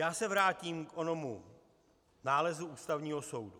Já se vrátím k onomu nálezu Ústavního soudu.